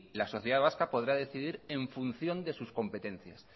la sociedad vasca podrá decidir en función de sus competencias